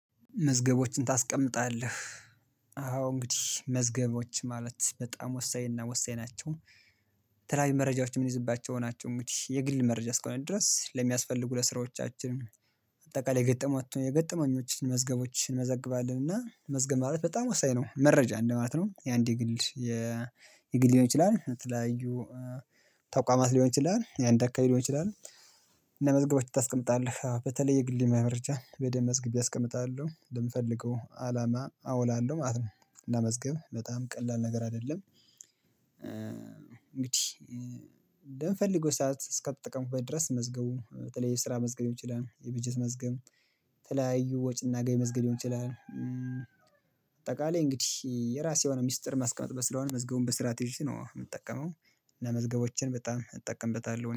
መዝገቦችን ታስቀምጣለህ አዎ እንግዲህ መዝገቦች ማለት በጣም ወሳኝ እና ወሳኝ ናቸው። የተለያዩ መረጃዎች የምንይዝባቸው ሆናችሁ እንግዲህ የግል መረጃ እስከሆነ ድረስ ለሚያስፈልጉ ለስራዎቻችን። አጠቃላይ የገጠመው የገጠመኞችን መዝገቦችን እንመዘግባለን እና መዝገብ ማለት በጣም ወሳኝ ነው መረጃ እንደማለት ነው። የአንድ የግል የግል ሊሆን ይችላል የተለያዩ ተቋማት ሊሆን ይችላል የአንድ አካል ሊሆን እንችላለን። ለመዝገቦች ታስቀምጣለህ በተለይ የግል መምረጃ በደንብ መዝግቤ አስቀምጣለሁ ልምፈልገው አላማ አውላለሁ ማለት ነው። ለመዝገብ በጣም ቀላል ነገር አይደለም እንግዲህ። በምፈልገው ሰዓት እስከተጠቀሙበት ድረስ መዝገቡ በተለይ የስራ መዝገቢያ ሊሆን ይችላል የበጀት መዝብ ተለያዩ ወጪና ገቢ መዝገብ ሊሆን ይችላል። አጠቃላይ እንግዲህ የራሴ የሆነ ሚስጥር ማስቀመጥ ስለሆነ መዝገቡን በስርዓት ይዠ ነው የምጠቀመው። እና መዝገቦችን በጣም እጠቀምበታለሁ